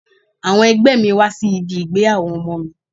Àwọn ẹgbẹ́ mi wá sí ibi ìgbéyàwó ọmọ mi.